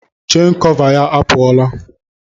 Chen kọva ya apụọla.